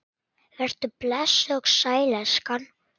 Vertu blessuð og sæl, elskan!